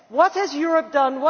What has Europe done?